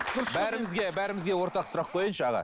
бәрімізге бәрімізге ортақ сұрақ қояйыншы аға